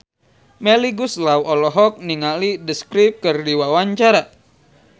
Melly Goeslaw olohok ningali The Script keur diwawancara